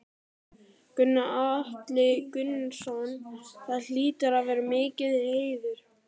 Gunnar Atli Gunnarsson: Það hlýtur að vera mikill heiður?